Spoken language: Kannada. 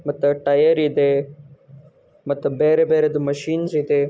ಮತ್ತ ಟೈಯರಿ ದೆ ಮತ್ತ ಬೆರೆ ಬೆರೆದು ಮಷಿನ್ಸ ಇದೆ .